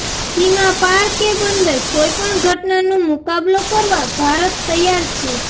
સીમા પાર કે બંદર કોઈપણ ઘટનાનો મુકાબલો કરવા ભારત તૈયાર છે